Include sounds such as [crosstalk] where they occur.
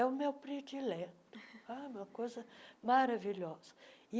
É o meu predileto, [laughs] uma coisa maravilhosa.